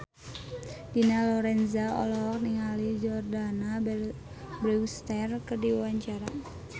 Dina Lorenza olohok ningali Jordana Brewster keur diwawancara